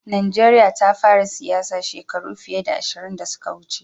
Najeriya ta fara siyasa shekaru fiye da ashirin da suka wuce.